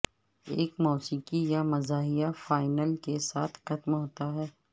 ایک موسیقی یا مزاحیہ فائنل کے ساتھ ختم ہوتا ہے